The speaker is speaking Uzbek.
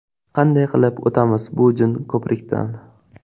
Qanday qilib o‘tamiz bu jin ko‘prikdan?